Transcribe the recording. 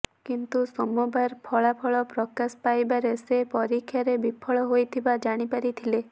କିନ୍ତୁ ସୋମବାର ଫଳାଫଳ ପ୍ରକାଶ ପାଇବାରେ ସେ ପରୀକ୍ଷାରେ ବିଫଳ ହୋଇଥିବା ଜାଣିପାରିଥିଲେ